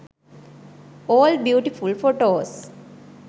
all beautiful photos